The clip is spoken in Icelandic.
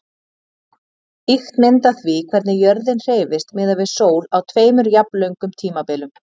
Ýkt mynd af því hvernig jörðin hreyfist miðað við sól á tveimur jafnlöngum tímabilum.